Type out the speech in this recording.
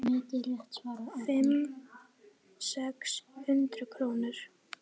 Fimm, sex hundruð krónur?